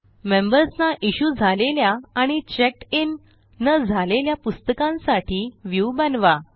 members ना issue झालेल्या आणि चेक्ड इन न झालेल्या पुस्तकांसाठी व्ह्यू बनवा